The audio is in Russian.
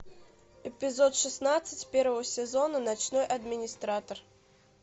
эпизод шестнадцать первого сезона ночной администратор